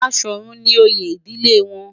Baṣọ̀run ni oyè ìdílé wọn.